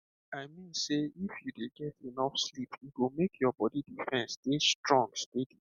i mean sey if you dey get enough sleep e go make your body defence dey strong steady